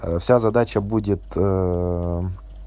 вся задача будет